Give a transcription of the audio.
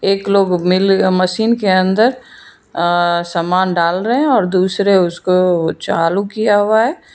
एक लोग मिल मशीन के अंदर अ समान डाल रहे हैं और दूसरे उसको चालू किया हुआ है।